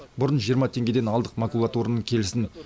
бұрын жиырма теңгеден алдық макулатураның келісін